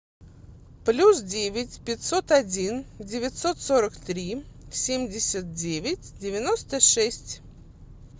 плюс девять пятьсот один девятьсот сорок три семьдесят девять девяносто шесть